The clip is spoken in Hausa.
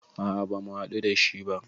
A a ba mu haɗu dashi ba